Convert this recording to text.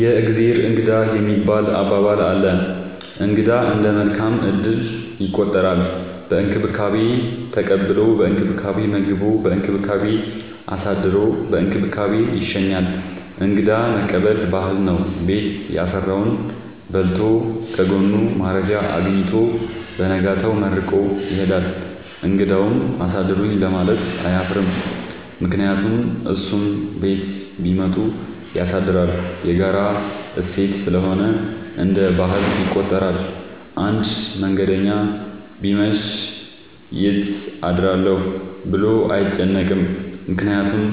የእግዜር እንግዳ የሚባል አባባል አለ። እንግዳ እንደ መልካም እድል ይቆጠራል። በእንክብካቤ ተቀብሎ በእንክብካቤ መግቦ በእንክብካቤ አሳድሮ በእንክብካቤ ይሸኛል። እንግዳ መቀበል ባህል ነው። ቤት ያፈራውን በልቶ ለጎኑ ማረፊያ አጊኝቶ በነጋታው መርቆ ይሄዳል። እንግዳውም አሳድሩኝ ለማለት አያፍርም ምክንያቱም እሱም ቤት ቢመጡ ያሳድራል። የጋራ እሴት ስለሆነ እንደ ባህል ይቆጠራል። አንድ መንገደኛ ቢመሽ ይት አድራለሁ ብሎ አይጨነቅም። ምክንያቱም